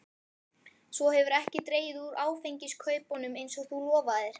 Svo hefurðu ekki dregið úr áfengiskaupunum eins og þú lofaðir.